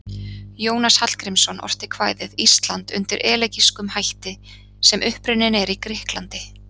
Jónas Hallgrímsson orti kvæðið Ísland undir elegískum hætti sem upprunninn er í Grikklandi.